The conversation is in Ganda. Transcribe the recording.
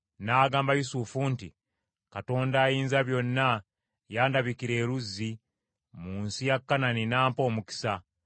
N’agamba Yusufu nti, “Katonda Ayinzabyonna yandabikira e Luzi mu nsi ya Kanani n’ampa omukisa.